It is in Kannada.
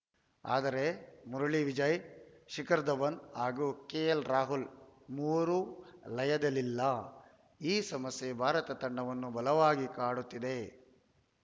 ಆದರೆ ಮುರಳಿ ವಿಜಯ್‌ ಶಿಖರ್‌ ಧವನ್‌ ಹಾಗೂ ಕೆಎಲ್‌ರಾಹುಲ್‌ ಮೂವರೂ ಲಯದಲ್ಲಿಲ್ಲ ಈ ಸಮಸ್ಯೆ ಭಾರತ ತಂಡವನ್ನು ಬಲವಾಗಿ ಕಾಡುತ್ತಿದೆ